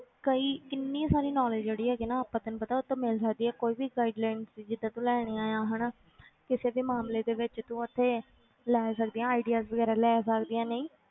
ਕਈ ਕਿੰਨੀ ਸਾਰੀ knowledge ਜਿਹੜੀ ਹੈਗੀ ਆ ਨਾ ਆਪਾਂ ਤੈਨੂੰ ਪਤਾ ਉਹ ਤੋਂ ਮਿਲ ਸਕਦੀ ਹੈ ਕੋਈ ਵੀ guidelines ਜਿੱਦਾਂ ਤੂੰ ਲੈਣੀਆਂ ਆਂ ਹਨਾ ਕਿਸੇ ਵੀ ਮਾਮਲੇ ਦੇ ਵਿੱਚ ਤੂੰ ਉੱਥੇ ਲੈ ਸਕਦੀ ਹੈ ideas ਵਗ਼ੈਰਾ ਲੈ ਸਕਦੀ ਹੈ ਨਹੀਂ